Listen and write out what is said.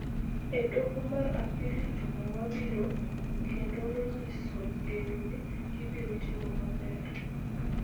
e Doho mar Apil juma mabiro kendo nonyiso geno ni gibiro timo maber,